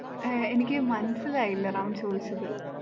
ഏർ എനിക്ക് മനസ്സിലായില്ല റാം ചോദിച്ചത്?